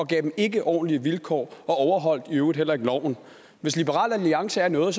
gav dem ikke ordentlige vilkår og overholdt i øvrigt heller ikke loven hvis liberal alliance er noget er